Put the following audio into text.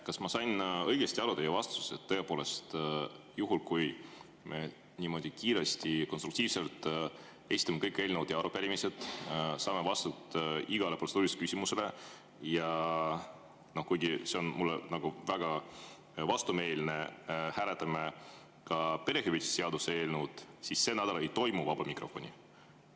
Kas ma sain teie vastusest õigesti aru, et tõepoolest juhul, kui me niimoodi kiiresti ja konstruktiivselt esitame kõik eelnõud ja arupärimised, saame vastused igale protseduurilisele küsimusele ja kuigi see on mulle väga vastumeelne, hääletame ka perehüvitiste seaduse eelnõu, siis sel nädalal ikkagi vaba mikrofoni ei toimu?